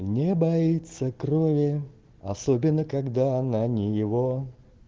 не боится крови особенно когда она не его